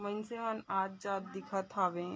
मन से ओन आत -जात दिखत हवे।